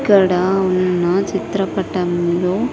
ఇక్కడ ఉన్న చిత్రపటంలో.